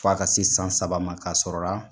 F'a ka se san saba ma ,ka sɔrɔ la